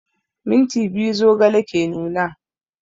Minti biyu zogale ke nuna